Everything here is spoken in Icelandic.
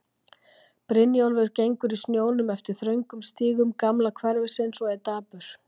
Brynjólfur gengur í snjónum eftir þröngum stígum gamla hverfisins og er dapur.